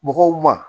Mɔgɔw ma